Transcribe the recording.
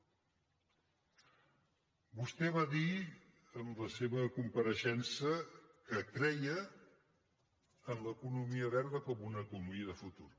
vostè va dir en la seva compareixença que creia en l’economia verda com una economia de futur